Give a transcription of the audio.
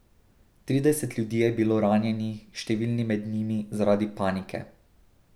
Trideset ljudi je bilo ranjenih, številni med njimi zaradi panike.